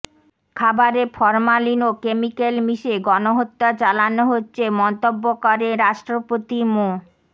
খাবারে ফরমালিন ও কেমিক্যাল মিশিয়ে গণহত্যা চালানো হচ্ছে মন্তব্য করে রাষ্ট্রপতি মো